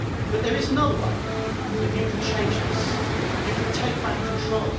There is another way that you can change this you can take back control.